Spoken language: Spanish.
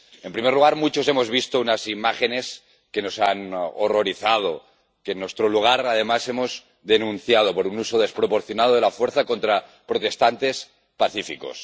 En primer lugar, muchos hemos visto unas imágenes que nos han horrorizado, que, en nuestro lugar, además, hemos denunciado por un uso desproporcionado de la fuerza contra manifestantes pacíficos.